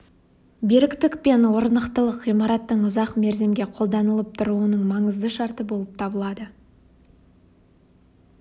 беріктік пен орнықтылық ғимараттың ұзақ мерзімге қолданылып тұруының маңызды шарты болып табылады